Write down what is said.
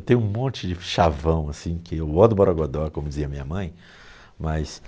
Eu tenho um monte de chavão, assim, que eu gosto do Borogodó, como dizia minha mãe, mas